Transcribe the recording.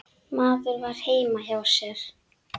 Maður var heima hjá sér.